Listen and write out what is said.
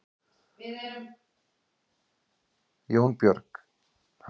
Jónbjörg, ferð þú með okkur á sunnudaginn?